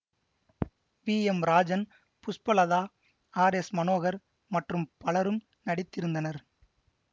we M Rajan Pushpalatha R S Manohar மற்றும் பலரும் நடித்திருந்தனர்